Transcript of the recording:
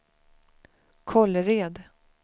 Kållered